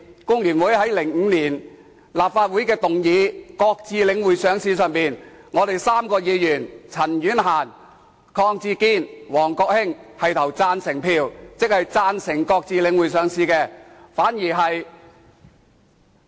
立法會在2005年討論擱置領匯上市的議案時，工聯會3名議員也是投贊成票，即贊成擱置領匯上市。